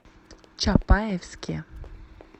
чапаевске